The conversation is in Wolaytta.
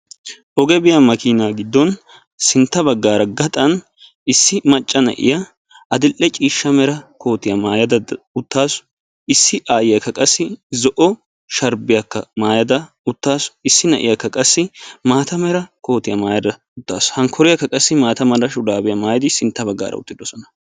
oge biyaa makina giddon sintta baggara gaxxan issi macca na'iya adl"e ciishsha mera koottiya maayyada uttasu; issi aayiyyakka zo'o sharbbiyakka maayyada utaasu; issi na'iyaakka qassi maata mera kootiya maayyada uttaasu; hankoriyaaka qassi maata mala shuraabbiyaa maayyada sintta baggan uttaasu.